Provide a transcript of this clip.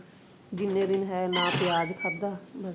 ਜਿੰਨੇ ਦਿਨ ਹੈ ਨਾ ਪਿਆਜ ਖਾਧਾ ਬਸ